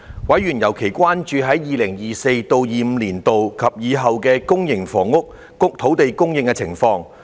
委員尤其關注 2024-2025 年度及以後的公營房屋土地供應情況。